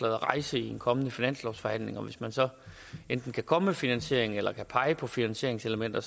at rejse i en kommende finanslovsforhandling og hvis man så enten kan komme med finansieringen eller kan pege på finansieringselementer